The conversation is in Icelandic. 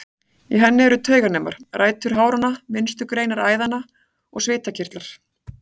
Í henni eru tauganemar, rætur háranna, minnstu greinar æðanna og svitakirtlar.